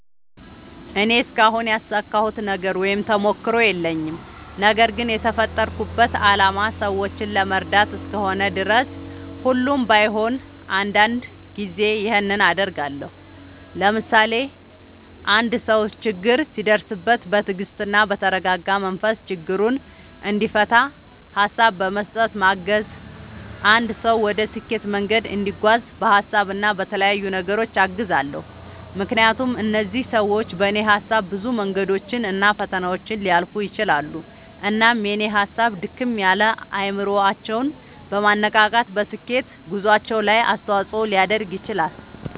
እኔ እስካሁን ያሳካሁት ነገር ወይም ተሞክሮ የለኝም። ነገርግን የተፈጠርኩበት አላማ ሰዎችን ለመርዳት እስከሆነ ድረስ ሁሌም ባይሆን አንዳንድ ጊዜ ይኸንን አደርጋለሁ። ለምሳሌ፦ አንድ ሰው ችግር ሲደርስበት በትግስትና በተረጋጋ መንፈስ ችግሩን እንዲፈታ ሀሳብ በመስጠት ማገዝ፣ አንድ ሰው ወደ ስኬት መንገድ እንዲጓዝ በሀሳብ እና በተለያዩ ነገሮች አግዛለሁ። ምክንያቱም እነዚህ ሰዎች በኔ ሀሳብ ብዙ መንገዶችን እና ፈተናዎችን ሊያልፉ ይችላሉ። እናም የኔ ሀሳብ ድክም ያለ አይምሮአቸውን በማነቃቃት በስኬት ጉዞአቸው ላይ አስተዋጽኦ ሊያደርግ ይችላል።